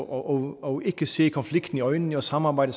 og ikke se konflikten i øjnene og samarbejde